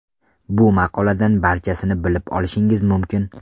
Bu maqoladan barchasini bilib olishingiz mumkin.